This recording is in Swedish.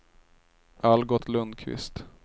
Algot Lundqvist